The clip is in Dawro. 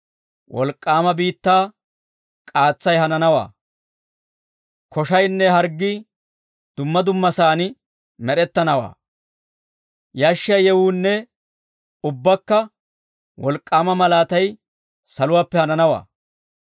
wolk'k'aama biittaa k'aatsay hananawaa; koshaynne harggii, dumma dummasaan med'ettanawaa; yashshiyaa yewuunne ubbaakka wolk'k'aama malaatay saluwaappe hananawaa.